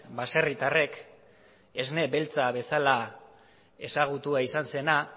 baserritarrek esne beltza bezala ezagutua izan zena